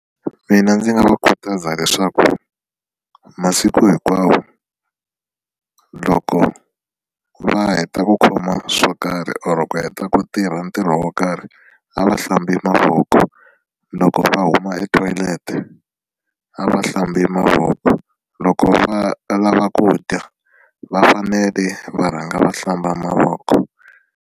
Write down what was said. Mina ndzi nga va khutaza leswaku masiku hinkwawo loko va heta ku khoma swo karhi or ku heta ku tirha ntirho wo karhi a va hlambi mavoko loko va huma e-toilet-e a va hlambi mavoko loko va lava ku dya va fanele va rhanga va hlamba mavoko.